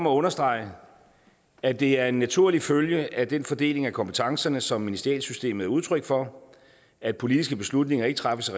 at understrege at det er en naturlig følge af den fordeling af kompetencerne som ministerialsystemet er udtryk for at politiske beslutninger ikke træffes af